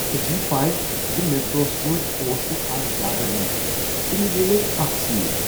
ژےٚ چھیٚیہ پے ز میٹروہس منٛز اوس نہٕ از زیٛادٕ رش تہٕ مےٚ میلییہِ اکھ سیٖٹ؟